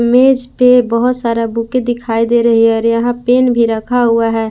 मेज पर बहुत सारा बुक दिखाई दे रही है और यहां पेन भी रखा हुआ है।